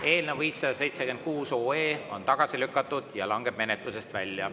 Eelnõu 576 on tagasi lükatud ja langeb menetlusest välja.